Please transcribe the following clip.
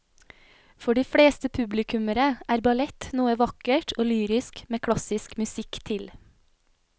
For de fleste publikummere er ballett noe vakkert og lyrisk med klassisk musikk til.